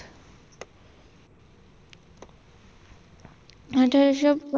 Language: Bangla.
আঠারশ